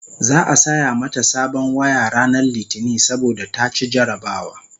za'a saya mata sabon waya ranar litini saboda ta ci jarabawa